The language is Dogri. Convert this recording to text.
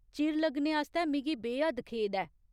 चिर लग्गने आस्तै मिगी बे हद्द खेद ऐ।